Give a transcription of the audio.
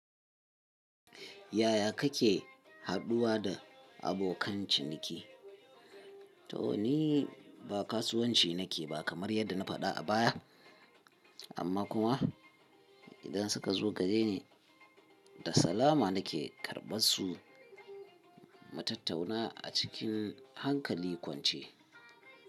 Yaya kake haduwa da abokan ciniki? To ni ba kasuwanci nake ba kamar yadda na faɗa a baya, amma kuma idan suka zo gareni da salama nake karɓar su mutattauna a cikin hankali kwance.